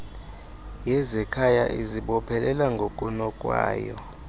yezekhaya izibophelela ngokunokwayo